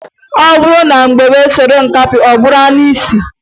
Ọ bụrụ na ngwere sobe nkakwụ ọ bụrụ anụisi.